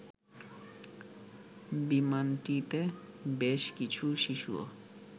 বিমানটিতে বেশ কিছু শিশুও